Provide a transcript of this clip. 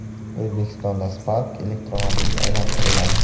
O‘zbekistonda Spark elektromobilga aylantiriladi.